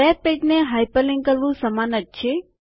web પેજને hyperlink કરવું સમાન જ છે